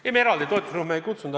Ei, me eraldi toetusrühma ei kutsunud.